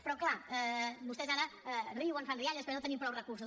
però clar vostès ara riuen fan rialles perquè no tenim prou recursos